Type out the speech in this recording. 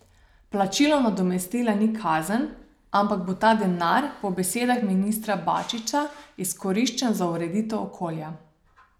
Plačilo nadomestila ni kazen, ampak bo ta denar, po besedah ministra Bačića, izkoriščen za ureditev okolja.